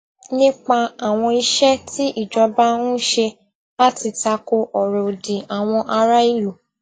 nípa àwọn iṣé tí ìjọba ń ṣe láti tako ọrọ òdì àwọn aráìlú